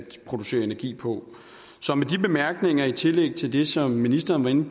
producere energi på så med de bemærkninger i tillæg til det som ministeren var inde